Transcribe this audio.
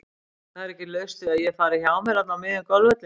Það er ekki laust við að ég fari hjá mér þarna á miðjum golfvellinum.